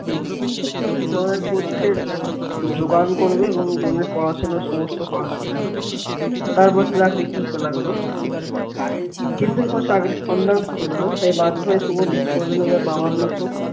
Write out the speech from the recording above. মায়ের পথ্যের জোগান করবে এবং বোনের পড়াশোনার সমস্ত খরচ চালাবে তারপর সে চাকরি খুঁজতে লাগলো কিন্তু কোন চাকরির সন্ধান সে পেল না তাই বাধ্য হয়ে শুভ শেষ পর্যন্ত তার বাবার মত